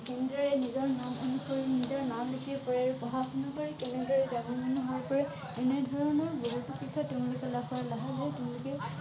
কেনেদৰে নিজৰ নিজৰ নাম লিখিব পাৰে আৰু পঢ়া শুনা কৰি কেনেদৰে ডাঙৰ মানুহ হব পাৰে এনে ধৰণৰ বহুতো কথা তেওঁলোকে